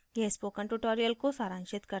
यह spoken tutorial को सारांशित करता है